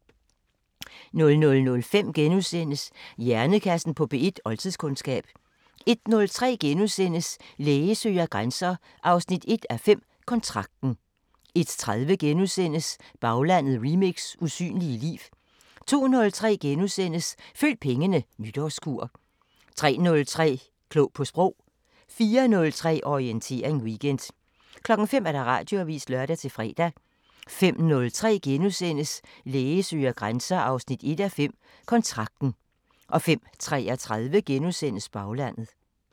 00:05: Hjernekassen på P1: Oldtidskundskab * 01:03: Læge søger grænser 1:5 – Kontrakten * 01:30: Baglandet remix: Usynlige liv * 02:03: Følg pengene: Nytårskur * 03:03: Klog på Sprog 04:03: Orientering Weekend 05:00: Radioavisen (lør-fre) 05:03: Læge søger grænser 1:5 – Kontrakten * 05:33: Baglandet *